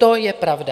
To je pravda.